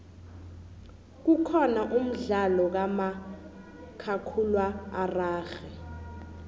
kukhona umdlalo kamakhakhulwa ararhwe